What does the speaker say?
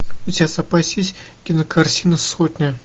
у тебя в запасе есть кинокартина сотня